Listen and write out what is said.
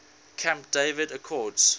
camp david accords